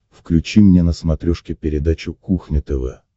включи мне на смотрешке передачу кухня тв